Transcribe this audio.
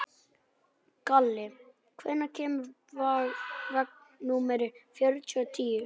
Kalli, hvenær kemur vagn númer fjörutíu og níu?